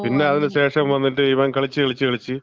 പിന്നെ അതിന് ശേഷം വന്നിട്ട് ഇവൻ കളിച്ച് കളിച്ച് കളിച്ച്,